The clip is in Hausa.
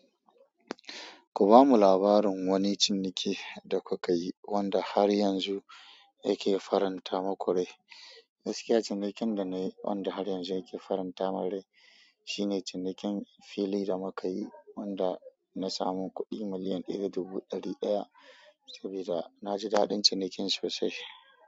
Ku bamu labarin wani ciniki da kuka yi wanda har yanzu yake faranta muku rai. Gaskiya cinikin da na yi wanda har yanzu yake faranta min rai. Shine cinikin fili da muka yi wanda na samu kuɗi miliyan ɗaya da dubu ɗari ɗaya saboda na ji daɗin cinikin sosai.